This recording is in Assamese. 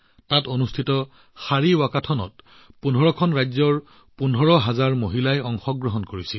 তাত অনুষ্ঠিত শাৰী ৱাকাথনত ১৫খন ৰাজ্যৰ ১৫০০০ মহিলাই অংশগ্ৰহণ কৰে